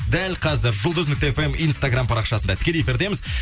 дәл қазір жұлдыз нүкте фм инстаграм парақшасында тікелей эфирдеміз